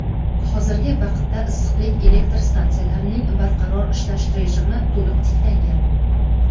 hozirgi vaqtda issiqlik elektr stansiyalarining barqaror ishlash rejimi to‘liq tiklangan.